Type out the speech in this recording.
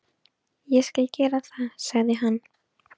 Ég skal gera það, sagði hann.